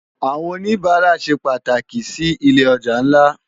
Awòn ónibàrá sé pàtáki si ilé òjá nlá